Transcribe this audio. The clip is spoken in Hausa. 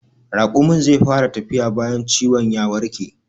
Raƙumin zai fara tafiya bayan ciwon ya warke